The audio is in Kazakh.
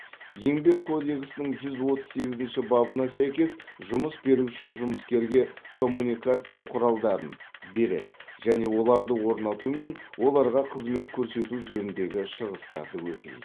еңбек кодексінің жүз отыз сегізінші бабына сәйкес жұмыс беруші жұмыскерге коммуникация құралдарын береді және оларды орнату мен оларға қызмет көрсету жөніндегі шығыстарды өтейді